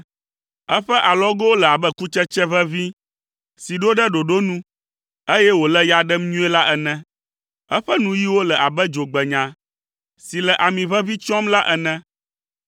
Eƒe alɔgowo le abe kutsetse ʋeʋĩ si ɖo ɖe ɖoɖo nu, eye wòle ya ɖem nyuie la ene. Eƒe nuyiwo le abe dzogbenya si le ami ʋeʋĩ tsyɔm la ene.